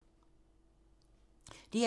DR2